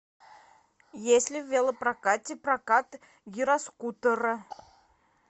есть ли в велопрокате прокат гироскутера